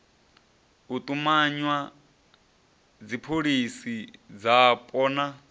u tumanywa dzipholisi dzapo na